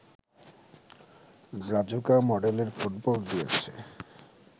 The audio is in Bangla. ব্রাজুকা মডেলের ফুটবল দিয়েছে